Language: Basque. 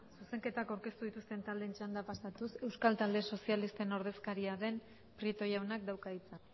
zuzenketako aurkeztu dituzten talde txanda pasatuz euskal talde sozialisten ordezkaria den prieto jaunak dauka hitza